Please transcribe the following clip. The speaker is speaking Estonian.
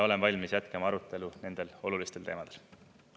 Olen valmis jätkama arutelu nendel olulistel teemadel.